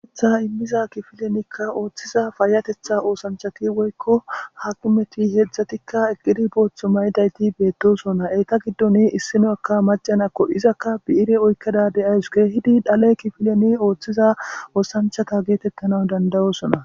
eetha immiza kifilenikka ooththiza faayatetha oosanchati woykko hakimeti heeedzdzatikka eqqidi booththo maydayti beettosona eyta giddon issinokka macanakko izakka bi7ire oykkeda de aysu geehidi dhale kifileni ooththiza oosanchata geetettana dandayosona